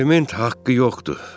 Aliment haqqı yoxdur.